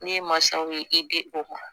Ne ye masaw ye e di o ma